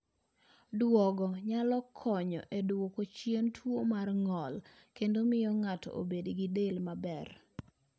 Duogo nyalo konyo e duoko chien tuwo mar ng'ol kendo miyo ng'ato obed gi del maber.